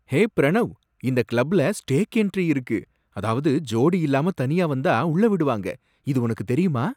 ஹே ப்ரணவ்! இந்த கிளப்ல stag entry இருக்கு, அதாவது ஜோடி இல்லாம தனியா வந்தா உள்ள விடுவாங்க, இது உனக்குத் தெரியுமா?